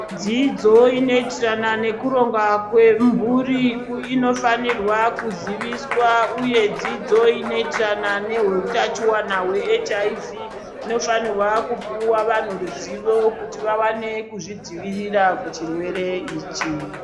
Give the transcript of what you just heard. Dzidzo inoitirana nekuronga kwemhuri inofanirwa kuziviswa uye dzidzo inotirana nehutachiwana hwe HIV inofanira kupiwa vanhu ruzivo kuti vawane kuzvidzivirira kuchirwere ichi.